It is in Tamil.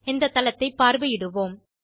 இந்தத் தளத்தைப் பார்வையிடுவோம்